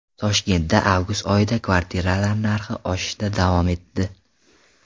Toshkentda avgust oyida kvartiralar narxi oshishda davom etdi.